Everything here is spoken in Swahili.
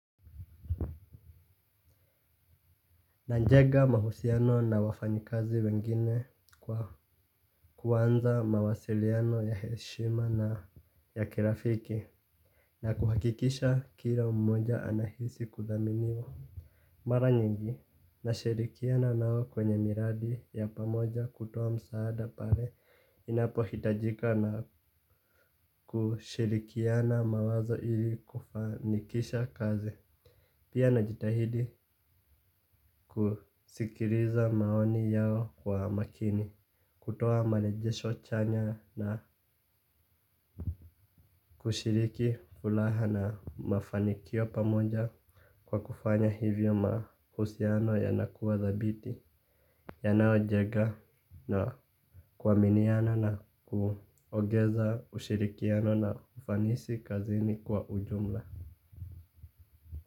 Najenga mahusiano na wafanyikazi wengine kwa kuanza mawasiliano ya heshima na ya kirafiki. Na kuhakikisha kila mmoja anahisi kuthaminiwa. Mara nyingi, nashirikiana nao kwenye miradi ya pamoja kutoa msaada pale. Inapohitajika na kushirikiana mawazo ili kufanikisha kazi. Pia najitahidi kusikiliza maoni yao kwa makini. Kutoa marejesho chanya na kushiriki furaha na mafanikio pamoja kwa kufanya hivyo mahusiano yanakuwa dhabiti yanayojenga na kuaminiana na kuongeza ushirikiano na ufanisi kazini kwa ujumla.